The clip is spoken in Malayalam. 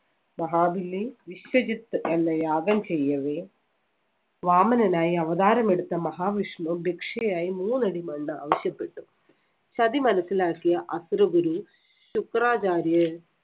മഹാബലി വിശ്വജിത്ത് എന്ന യാഗം ചെയ്യവെ വാമനനായി അവതാരമെടുത്ത മഹാവിഷ്ണു ഭിക്ഷയായി മൂന്നടി മണ്ണ് ആവശ്യപ്പെട്ടു. ചതി മനസ്സിലാക്കിയ അസുരഗുരു ശുക്രാചാര്യൻ